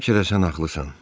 Bəlkə də sən haqlısan.